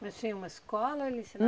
Mas tinha uma escola ou ele